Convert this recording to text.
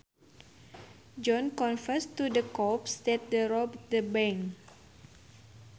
John confessed to the cops that he robbed the bank